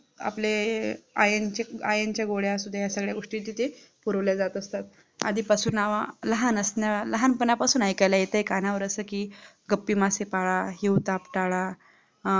आपले हे IRON च्या गोळ्या असुद्या ह्या सगळ्या गोष्टी तिथे पुरवल्या जात आधीपासून लहान असणं लहंपणापासून ऐकायला कानांवर अस कि गप्पी मासे पाळा हिवताप पाळा अं